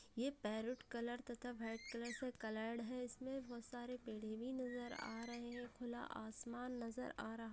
ये parrot colour तथा white colour coloured है इसमें बहुत सारे पेड़ भी नज़र आ रहे हैं खुला आसमान नज़र आ रहा--